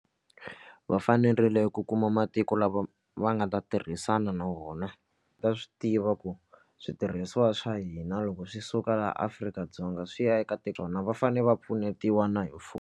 Va fanerile ku kuma matiko lava va nga ta tirhisana na wona va swi tiva ku switirhisiwa swa hina loko swi suka laha Afrika-Dzonga swi ya eka va fanele va pfunetiwa na hi .